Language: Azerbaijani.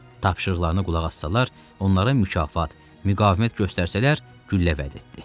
Tapşırıqlarına qulaq assalar, onlara mükafat, müqavimət göstərsələr, güllə vəd etdi.